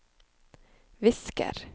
visker